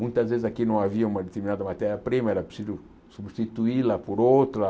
Muitas vezes aqui não havia uma determinada matéria-prima, era preciso substituí-la por outra.